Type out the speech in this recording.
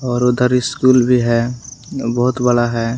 और उधर स्कूल भी है बहुत बड़ा है।